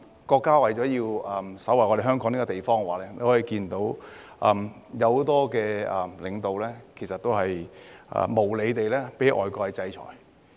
國家為了守衞香港這個地方，有很多領導無理地被外國制裁。